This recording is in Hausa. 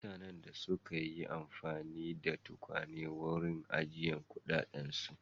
Mutanen da sun yi amfani da tukwane wurin ajiye kuɗaɗensu.